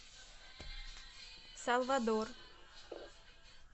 салвадор